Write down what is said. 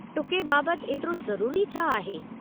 टुके बाबतु एतिरो ज़रूरी छा आहे?